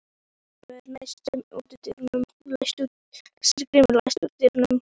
Sigurgrímur, læstu útidyrunum.